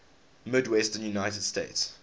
midwestern united states